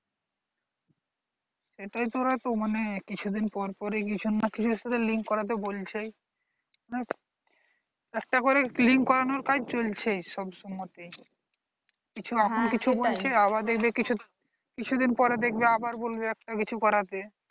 একটাকরে link করানোর কাজ চলছেই সব সমতে কিছু দিনের পর আবার দেখবে বলবে কিছু একটা করতে।